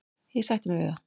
Ég sætti mig við það.